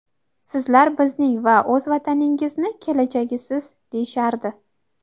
"Sizlar bizning va o‘z vataningizni kelajagisiz", -deyishardi".